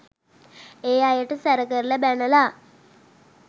ඒ අයට සැර කරලා බැනලා